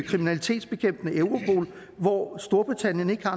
kriminalitetsbekæmpende europol hvor storbritannien ikke har